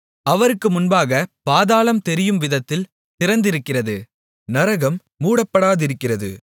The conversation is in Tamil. அவருக்கு முன்பாகப் பாதாளம் தெரியும்விதத்தில் திறந்திருக்கிறது நரகம் மூடப்படாதிருக்கிறது